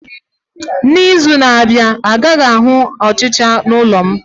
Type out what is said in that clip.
N'izu na-abịa, a gaghị ahụ ọchịcha n'ụlọ m